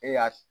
E y'a